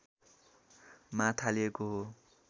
मा थालिएको हो